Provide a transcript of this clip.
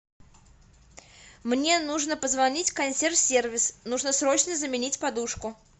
мне нужно позвонить в консьерж сервис нужно срочно заменить подушку